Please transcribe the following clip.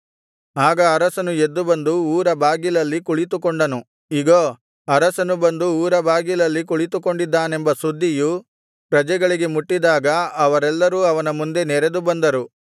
ಆಗ ಅರಸನು ಎದ್ದು ಬಂದು ಊರಬಾಗಿಲಲ್ಲಿ ಕುಳಿತುಕೊಂಡನು ಇಗೋ ಅರಸನು ಬಂದು ಊರಬಾಗಿಲಲ್ಲಿ ಕುಳಿತುಕೊಂಡಿದ್ದಾನೆಂಬ ಸುದ್ದಿಯು ಪ್ರಜೆಗಳಿಗೆ ಮುಟ್ಟಿದಾಗ ಅವರೆಲ್ಲರೂ ಅವನ ಮುಂದೆ ನೆರೆದು ಬಂದರು